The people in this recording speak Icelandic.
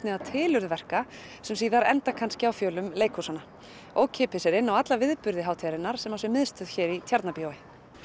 tilurð verka sem síðar enda kannski á fjölum leikhúsanna ókeypis er inn á alla viðburði hátíðarinnar sem á sér miðstöð hér í Tjarnarbíói